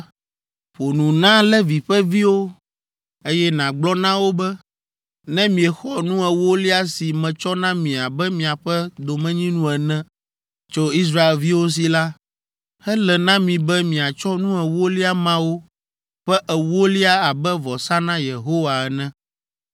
“Ƒo nu na Levi ƒe viwo, eye nàgblɔ na wo be, ‘Ne miexɔ nu ewolia si metsɔ na mi abe miaƒe domenyinu ene tso Israelviwo si la, ele na mi be miatsɔ nu ewolia mawo ƒe ewolia abe vɔsa na Yehowa ene.